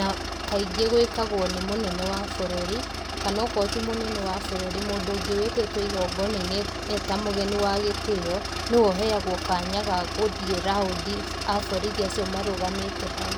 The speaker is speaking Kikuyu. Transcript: na kaingĩ gūĩkagwo nĩ mūnene wa būrūri kana akorwo ti mūnene wa būrūri, mūndū ūngĩ wĩtĩtwo igongonainĩ eta mūgeni wa gĩtĩo. Nĩwe ūheagwo kanya ga gūthiĩ round wa borithi acio marūgamĩte hau.